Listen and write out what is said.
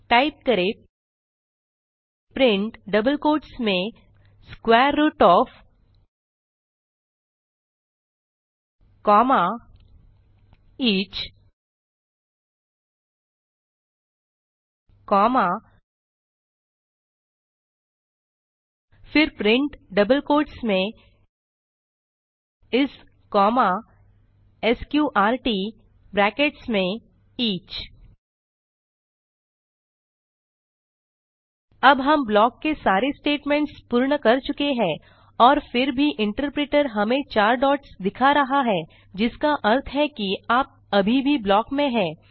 type करें print double quotes में square root of comma each comma फिर print double quotes में इस कॉमा स्कॉर्ट ब्रैकेट्स में ईच अब हम ब्लॉक के सारे स्टेटमेंट्स पूर्ण कर चुके हैं और फिर भी इंटरप्रिटर हमें 4 डॉट्स दिखा रहा है जिसका अर्थ है कि आप अभी भी ब्लॉक में हैं